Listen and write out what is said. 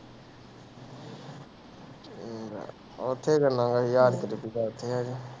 ਉੱਥੇ ਕਿੰਨਾ ਕੁ ਹਜ਼ਾਰ